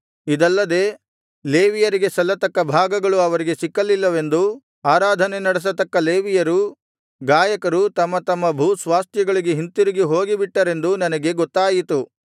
ಇದಲ್ಲದೆ ಲೇವಿಯರಿಗೆ ಸಲ್ಲತಕ್ಕ ಭಾಗಗಳು ಅವರಿಗೆ ಸಿಕ್ಕಲಿಲ್ಲವೆಂದೂ ಆರಾಧನೆ ನಡೆಸತಕ್ಕ ಲೇವಿಯರೂ ಗಾಯಕರೂ ತಮ್ಮ ತಮ್ಮ ಭೂಸ್ವಾಸ್ಥ್ಯಗಳಿಗೆ ಹಿಂತಿರುಗಿ ಹೋಗಿಬಿಟ್ಟರೆಂದೂ ನನಗೆ ಗೊತ್ತಾಯಿತು